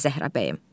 Zəhra bəyim.